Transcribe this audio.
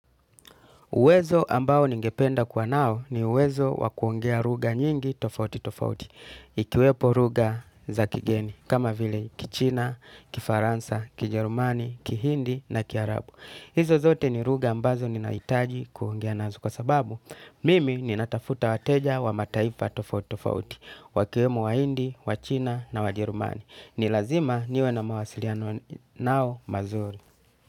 Uwezo ambao ningependa kuwa nao ni uwezo wakuongea lugha nyingi tofauti tofauti, ikiwepo lugha za kigeni, kama vile kichina, kifaransa, kijerumani, kihindi na kiarabu. Hizo zote ni lugha ambazo ninahitaji kuongea nazo, kwa sababu mimi ninatafuta wateja wa mataifa tofauti tofauti wakiwemo wahindi, wachina na wajerumani. Nilazima niwe na mawasiliano nao mazuri.